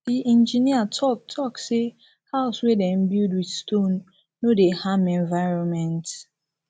di engineer talk talk sey house wey dem build with stone no dey harm environment